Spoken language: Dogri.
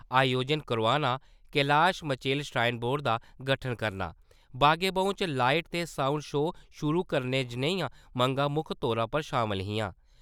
अयोजन करोआना, कैलाश मचेल श्राईन बोर्ड दा गठन करना, बाग-ए-बाहू च लाईट ते साउंड शो शुरू करने जनेही मंगां मुक्ख तौरा पर शामल हियां।